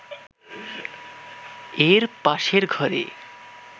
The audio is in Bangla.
এর পাশের ঘরে